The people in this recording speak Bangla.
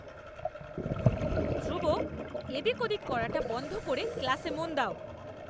ধ্রুব, এদিক ওদিক করাটা বন্ধ করে ক্লাসে মন দাও!